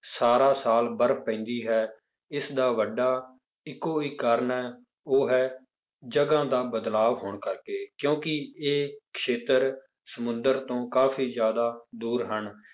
ਸਾਰਾ ਸਾਲ ਬਰਫ਼ ਪੈਂਦੀ ਹੈ ਇਸਦਾ ਵੱਡਾ ਇੱਕੋ ਇੱਕ ਕਾਰਨ ਹੈ ਉਹ ਹੈ ਜਗ੍ਹਾ ਦਾ ਬਦਲਾਵ ਹੋਣ ਕਰਕੇ ਕਿਉਂਕਿ ਇਹ ਖੇਤਰ ਸਮੁੰਦਰ ਤੋਂ ਕਾਫ਼ੀ ਜ਼ਿਆਦਾ ਦੂਰ ਹਨ,